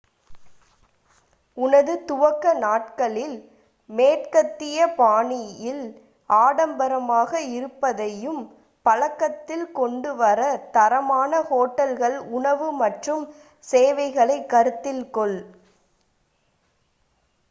உனது துவக்க நாட்களில் மேற்கத்திய பாணியில் ஆடம்பரமாக இருப்பதையும் பழக்கத்தில் கொண்டு வர தரமான ஹோட்டல்கள் உணவு மற்றும் சேவைகளை கருத்தில் கொள்